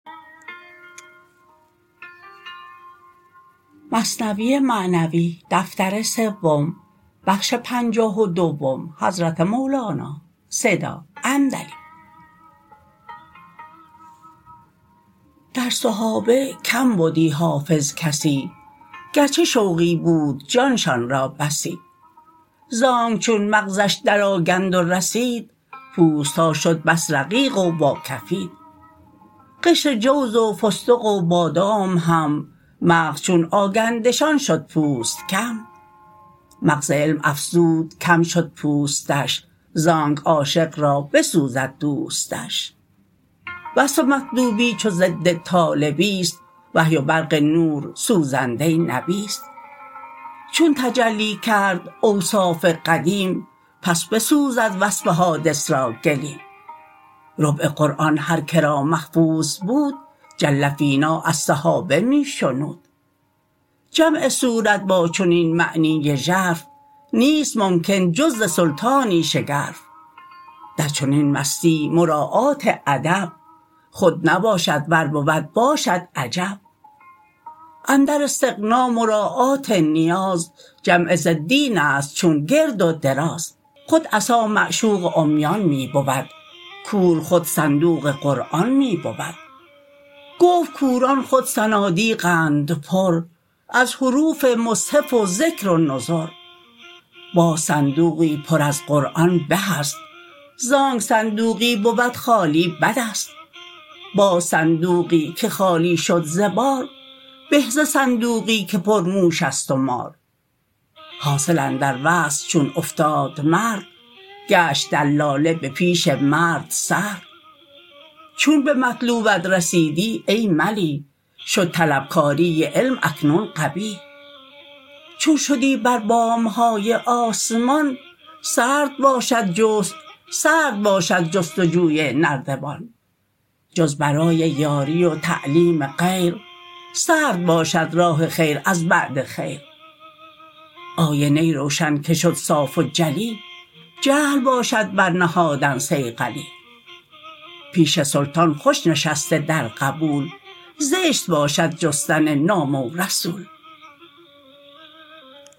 در صحابه کم بدی حافظ کسی گرچه شوقی بود جانشان را بسی زانک چون مغزش در آگند و رسید پوستها شد بس رقیق و واکفید قشر جوز و فستق و بادام هم مغز چون آگندشان شد پوست کم مغز علم افزود کم شد پوستش زانک عاشق را بسوزد دوستش وصف مطلوبی چو ضد طالبیست وحی و برق نور سوزنده نبیست چون تجلی کرد اوصاف قدیم پس بسوزد وصف حادث را گلیم ربع قرآن هر که را محفوظ بود جل فینا از صحابه می شنود جمع صورت با چنین معنی ژرف نیست ممکن جز ز سلطانی شگرف در چنین مستی مراعات ادب خود نباشد ور بود باشد عجب اندر استغنا مراعات نیاز جمع ضدینست چون گرد و دراز خود عصا معشوق عمیان می بود کور خود صندوق قرآن می بود گفت کوران خود صنادیقند پر از حروف مصحف و ذکر و نذر باز صندوقی پر از قرآن به است زانک صندوقی بود خالی بدست باز صندوقی که خالی شد ز بار به ز صندوقی که پر موشست و مار حاصل اندر وصل چون افتاد مرد گشت دلاله به پیش مرد سرد چون به مطلوبت رسیدی ای ملیح شد طلب کاری علم اکنون قبیح چون شدی بر بامهای آسمان سرد باشد جست وجوی نردبان جز برای یاری و تعلیم غیر سرد باشد راه خیر از بعد خیر آینه روشن که شد صاف و ملی جهل باشد بر نهادن صیقلی پیش سلطان خوش نشسته در قبول زشت باشد جستن نامه و رسول